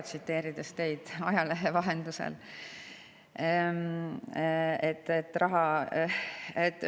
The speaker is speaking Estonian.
Ma tsiteerisin teie ajalehe vahendusel.